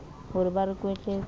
ho re ba re kwetletse